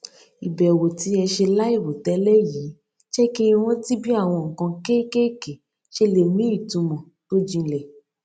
ìbẹwò tí ẹ ṣe láìròtélè yìí jé kí n rántí bí àwọn nǹkan kékèké ṣe lè ní ìtumọ tó jinlè